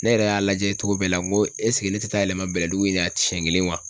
Ne yɛrɛ y'a lajɛ cogo bɛɛ la n ko ne tɛ taa yɛlɛma Bɛlɛdugu in na siɲɛ kelen wa